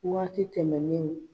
Waati tɛmɛnen.